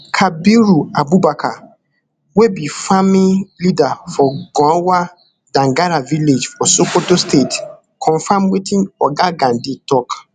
kabiru abubakar wey be farming leader for gunhwar dangara village for sokoto state confam wetin oga gandi tok